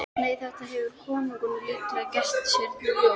Nei, þetta hefur konungurinn líklega gert sér ljóst.